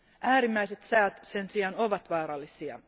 Äärimmäiset säät sen sijaan ovat vaarallisia.